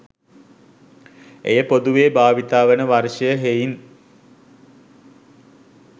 එය පොදුවේ භාවිත වන වර්ෂය හෙයින්